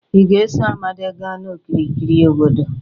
ị ga-eso Amadi gaa n'okirikiri obodo